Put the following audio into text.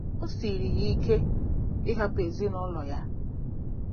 O siiri ya ike ịhapụ ezinụlọ ya.